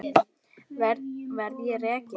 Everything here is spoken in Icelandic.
Verð ég rekinn?